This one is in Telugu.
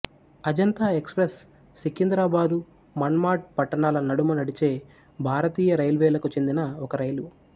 అజంత ఎక్స్ ప్రెస్ సికింద్రాబాదుమన్మాడ్ పట్టణాల నడుమ నడిచే భారతీయ రైల్వేలకు చెందిన ఒక రైలు